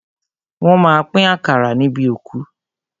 Wọ́n má a pín àkàrà níbi òkú.